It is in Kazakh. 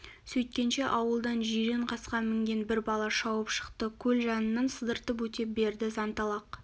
сөйткенше ауылдан жирен қасқа мінген бір бала шауып шықты көл жанынан сыдыртып өте берді зәнталақ